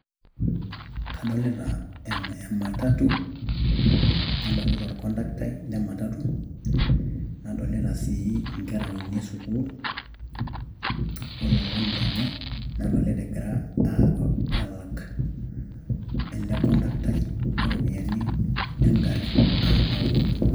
kadolita e matatu, nadolita orkontaktai matatu, nadolita inkera uni e esukuul ololan lenye, nadolita egira aalak ele kondaktai iropiyiani egari as nauli.